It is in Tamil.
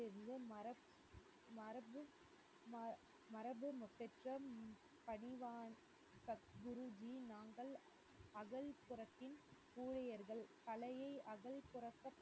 இருந்து மரக்~ மரபு~ ம~ மரபு குருஜி நாங்கள் ஊழியர்கள் கலையை